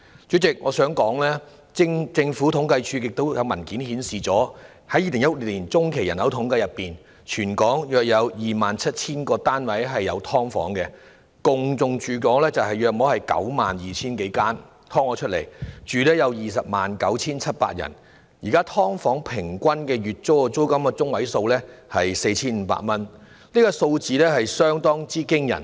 主席，我想指出，政府統計處的文件顯示，根據2016年中期人口統計，全港約有 27,000 個屋宇單位設有"劏房"，"劏房"數目達 92,000 多間，當中有 209,700 人居住，而現時"劏房"的月租中位數是 4,500 元，數字相當驚人。